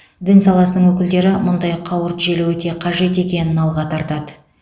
дін саласының өкілдері мұндай қауырт желі өте қажет екенін алға тартады